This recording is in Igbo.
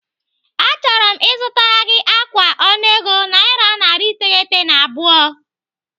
Achọrọ m ịzụtara gị ákwà ọnụego naira narị iteghete na abụọ.